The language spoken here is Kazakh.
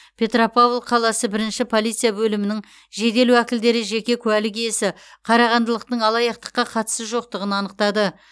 петропавл қаласы бірінші полиция бөлімінің жедел уәкілдері жеке куәлік иесі қарағандылықтың алаяқтыққа қатысы жоқтығын анықтады